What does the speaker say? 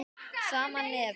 Sama nefið.